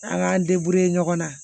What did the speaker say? An k'an ɲɔgɔn na